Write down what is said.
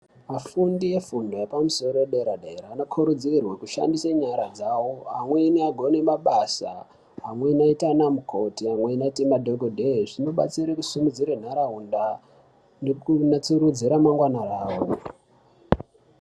Afundi efundo yepamusoro edera dera anokurudzirwe kushandise nyara dzawo amweni agone mabasa amweni aite ana mukoti amweni aite madhogodhee zvinobatsire kusimudzire ntaraunda nekunatsurudze ramangwana rawo.